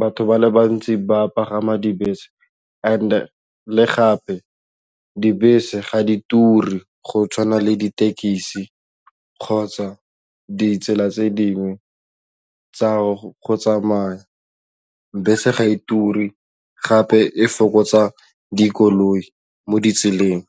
batho ba le bantsi ba pagama dibese and le gape dibese ga di turi go tshwana le ditekisi kgotsa ditsela tse dingwe tsa go tsamaya, bese ga e turi gape e fokotsa dikoloi mo ditseleng.